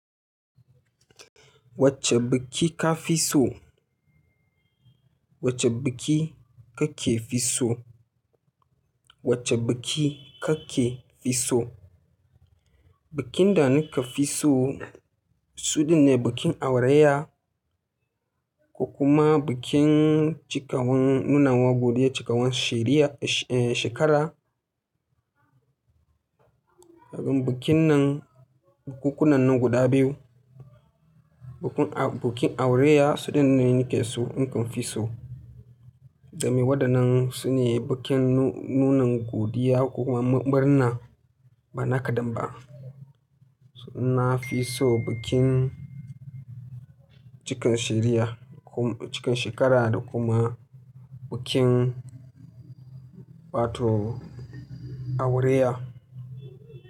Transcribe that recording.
Wacce biki ka fi so? Wacce biki kake fi so? Wacce biki kake fi so? Bikin da nake fi so suɗin ne bikin aureya, ko kuma bikin cikawan nuna wa godiya cikawan sheriya, eh, shekara. Domin bikin nan, bukunkunan nan guda biyu, bikin aureya su ɗin ne nake so, in ka fi so. Domin waɗannan su ne bikin nunan godiya ko kuma murnar bana kaɗan ba. Na fi so bikin cikan sheriya, cikan shekara da kuma bikin, batu aureya.